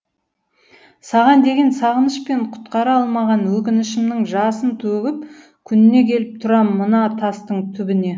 саған деген сағыныш пен құтқара алмаған өкінішімнің жасын төгіп күніне келіп тұрам мына тастың түбіне